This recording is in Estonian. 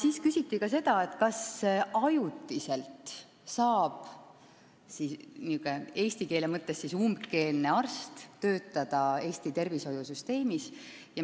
Veel küsiti, kas ajutiselt saab niisugune eesti keelt üldse mitte oskav arst Eesti tervishoiusüsteemis töötada.